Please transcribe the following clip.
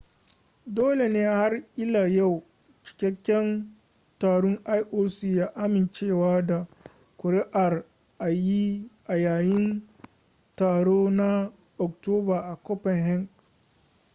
dole ne har ila yau cikakken taron ioc ya amincewa da ƙuri'ar a yayin taron ta na oktoba a copenhagen